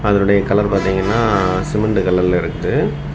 அதனுடைய கலர் பாத்தீங்கனா சிமெண்ட் கலர்ல இருக்கு.